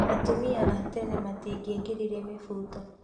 Atumia a tene matingĩekĩrire mĩfuto